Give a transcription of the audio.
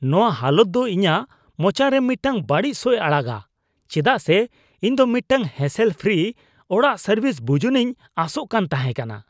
ᱱᱚᱶᱟ ᱦᱟᱞᱚᱛ ᱫᱚ ᱤᱧᱟᱜ ᱢᱚᱪᱟᱨᱮ ᱢᱤᱫᱴᱟᱝ ᱵᱟᱹᱲᱤᱡ ᱥᱚᱭ ᱟᱲᱟᱜᱼᱟ ᱪᱮᱫᱟᱜ ᱥᱮ ᱤᱧ ᱫᱚ ᱢᱤᱫᱴᱟᱝ ᱦᱮᱥᱮᱞ ᱯᱷᱨᱤ ᱚᱲᱟᱜ ᱥᱟᱹᱨᱵᱷᱤᱥ ᱵᱩᱡᱩᱱᱤᱧ ᱟᱥᱚᱜ ᱠᱟᱱ ᱛᱟᱦᱮᱸ ᱠᱟᱱᱟ ᱾